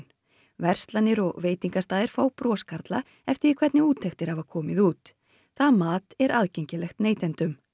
verslanir og veitingastaðir fá broskarla eftir því hvernig úttektir hafa komið út það mat er aðgengilegt neytendum